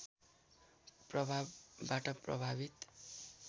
प्रभावबाट प्रभावित